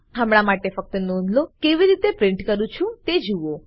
હમણા માટે ફક્ત નોંધલો કેવી રીતે મેં કેવી રીતે પ્રિન્ટ કરું છુ તે જુઓ